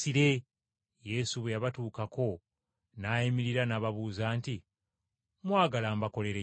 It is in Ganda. Yesu bwe yabatuukako n’ayimirira n’ababuuza nti, “Mwagala mbakolere ki?”